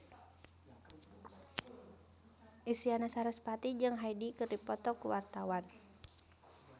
Isyana Sarasvati jeung Hyde keur dipoto ku wartawan